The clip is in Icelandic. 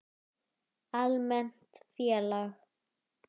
Almennt félag